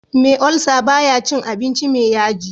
Me ulcer baya cin abinci me yaji